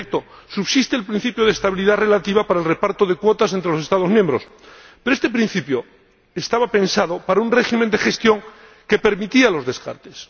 En efecto, subsiste el principio de estabilidad relativa para el reparto de cuotas entre los Estados miembros, pero este principio estaba pensado para un régimen de gestión que permitía los descartes.